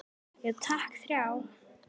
Já takk, þrjá.